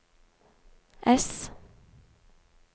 S